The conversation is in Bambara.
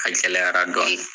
A gɛlɛyara dɔɔni